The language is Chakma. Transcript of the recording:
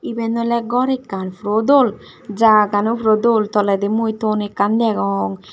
iben ole gor ekkan puro dol jaga gan u puro dol toledi mui thon ekkan degong.